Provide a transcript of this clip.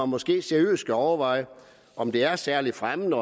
måske seriøst skal overveje om det er særlig fremmende